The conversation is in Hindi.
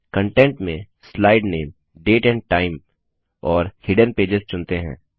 कंटेंट में स्लाइड नामे डेट एंड टाइम और हिडेन पेजेस चुनते हैं